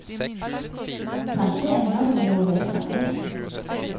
Kanskje ender det med noe helt annet.